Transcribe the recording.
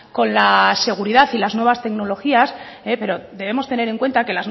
con la seguridad y las nuevas tecnologías pero debemos tener en cuenta que